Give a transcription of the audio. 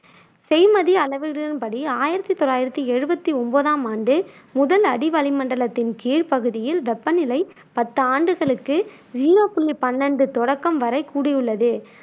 செய்மதி அளவுகளின் படி ஆயிரத்தி தொள்ளாயிரத்தி எழுவத்தி ஒன்பதாம் ஆண்டு முதல் அடிவளிமண்டலத்தின் கீழ் பகுதியில் வெப்பநிலை பத்து ஆண்டுகளுக்கு ஜீரோ புள்ளி பன்னெண்டு தொடக்கம் வரை கூடியுள்ளது